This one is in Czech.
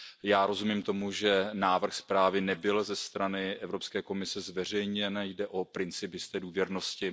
Já rozumím tomu, že návrh zprávy nebyl ze strany Evropské komise zveřejněn, jde o princip jisté důvěrnosti.